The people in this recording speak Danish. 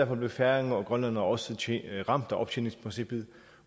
blev færinger og grønlændere også ramt af optjeningsprincippet